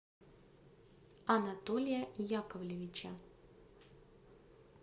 анатолия яковлевича